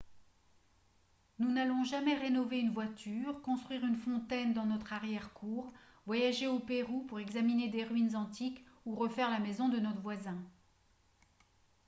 nous n'allons jamais rénover une voiture construire une fontaine dans notre arrière-cour voyager au pérou pour examiner des ruines antiques ou refaire la maison de notre voisin